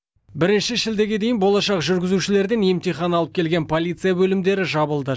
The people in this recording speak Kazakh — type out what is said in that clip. бірінші шілдеге дейін болашақ жүргізушілерден емтихан алып келген полиция бөлімдері жабылды